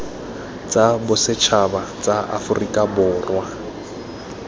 tsa bosetšhaba tsa aforika borwa